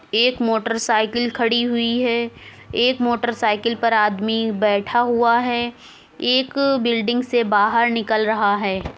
एक motorcycle खड़ी हुई है। एक मोटर साइकिल पर आदमी बैठा हुआ है। एक बिल्डिंग से बहार निकल रहा हैं।